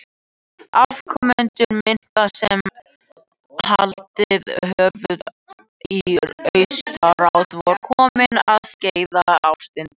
Afkomendur minka sem haldið höfðu í austurátt voru komnir að Skeiðarársandi.